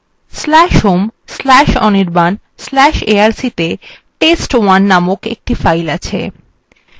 ইতিমধ্যে আমদের/home/anirban/arc/ ত়ে তেস্ত১ named একটি file named আছে